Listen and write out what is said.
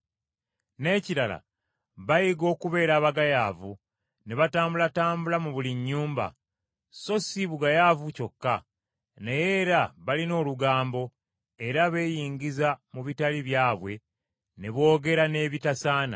N’ekirala bayiga okubeera abagayaavu ne batambulatambula mu buli nnyumba, so si bugayaavu kyokka, naye era balina olugambo, era beeyingiza mu bitali byabwe ne boogera n’ebitasaana.